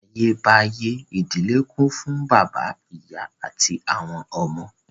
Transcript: Látayébáyé, ìdílé kún fún bàbá, ìyá àti àwọn ọmọ